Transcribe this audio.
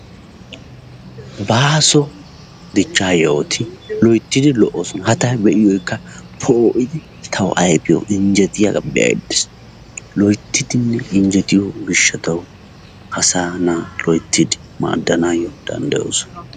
Baaso dichcha yohoti loyttidi lo'osona. Ha ta be'iyogeka po'idi tawu ayfiyawu injjetiyaga be'ayda de'ays. Loyttidi injjettiyo gishawu asa na'aa loyttidi maadanayo danddayosona.